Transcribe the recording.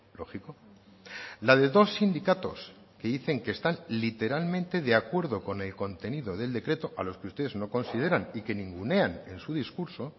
lógico la de dos sindicatos que dicen que están literalmente de acuerdo con el contenido del decreto a los que ustedes no consideran y que ningunean en su discurso